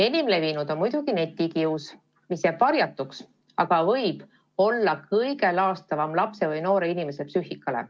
Enim levinud on muidugi netikius, mis jääb varjatuks, aga võib olla kõige laastavam lapse või noore inimese psüühikale.